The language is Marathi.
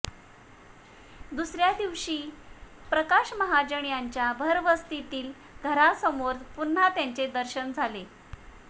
दुसऱ्या दिवशी प्रकाश महाजन यांच्या भरवस्तीतील घरासमोर पुन्हा त्याचे दर्शन झाले